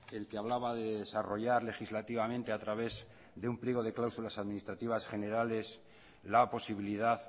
el que hablaba de desarrollar legislativamente a través de un pliego de cláusulas administrativas generales la posibilidad